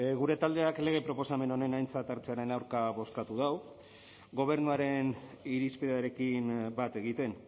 gure taldeak lege proposamen honen aintzat hartzearen aurka bozkatu du gobernuaren irizpidearekin bat egiten